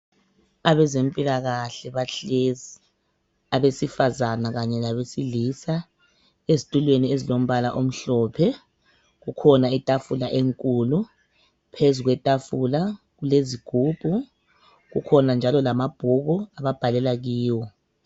Abezempilakahle bahlezi abesifazana kanye labesilisa ezitulweni ezilombala omhlophe kukhona itafula enkulu phezu kwetafula kulezigubhu kukhona njalo lamabhuku ababhalela kiwo.